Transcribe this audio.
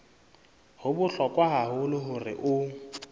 ho bohlokwa haholo hore o